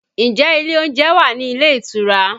Ǹjẹ́ ilé oúnjẹ wà ní ilé ìtura?